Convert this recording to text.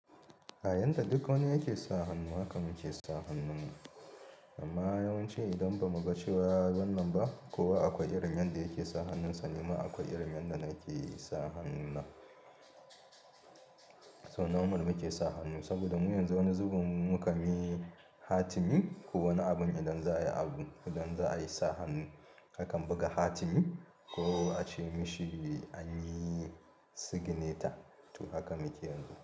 A yanda duk wani yake sa hannu, hakan mu ke sa hannun mu. Amma yawanci idan ba mu ga cewa wannan ba, kowa akwai irin yanda yake sa hannunsa, ni ma akwai irin yanda nake sa hannuna. So normal muke sa hannu saboda mu yanzu wani zubin mukanyi hatimi. Ko wani abun idan za a yi abu, idan za a yi sa hannu akan buga hatimi ko a ce mishi an yi sigineta. To haka muke yin.